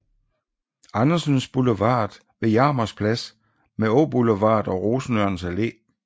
Andersens Boulevard ved Jarmers Plads med Åboulevard og Rosenørns Alle